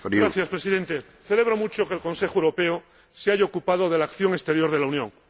Señor Presidente, celebro mucho que el Consejo Europeo se haya ocupado de la acción exterior de la Unión.